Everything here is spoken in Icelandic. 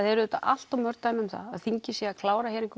eru auðvitað allt of mörg dæmi um það að þingið sé að klára